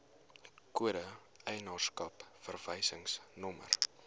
kode eienaarskap verwysingsnommer